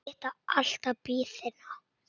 Það styttir alltaf biðina.